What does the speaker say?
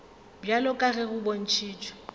bjalo ka ge go bontšhitšwe